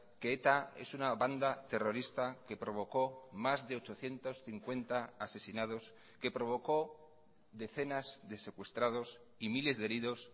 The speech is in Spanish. que eta es una banda terrorista que provocó más de ochocientos cincuenta asesinados que provocó decenas de secuestrados y miles de heridos